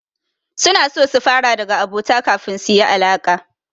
Suna so su fara daga abota kafin su yi alaƙa.